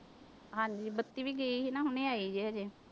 ਹਾਂਜੀ ਬੱਤੀ ਵੀ ਗਈ ਸੀ ਹੁਣੇ ਆਈ ਹੈ ਹਜੇ।